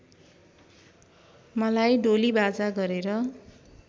मलाई डोलीबाजा गरेर